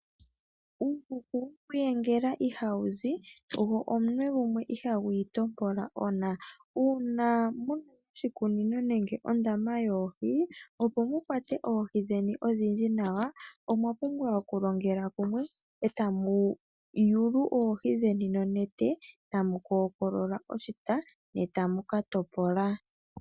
Uuhuku woku iyengela ihawu zi go omunwe gumwe ihagu itompola ona. Uuna moshikunino nenge mondama yoohi, opo mu kwatwe dheni odhindji nawa omwa pumbwa okulongela kumwe e ta mu yulu oohi dheni nonete tamu kookolola oshita ne tamu ka topola.